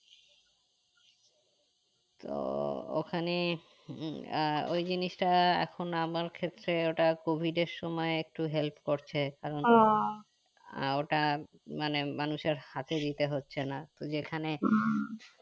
তো ওখানে উম আহ ওই জিনিসটা এখন আমার ক্ষেত্রে ওটা covid এর সময় একটু help করছে এখন আহ ওটা মানে মানুষের হাতে দিতে হচ্ছে না তো যেখানে